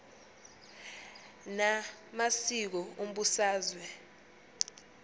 na masiko umbusazwe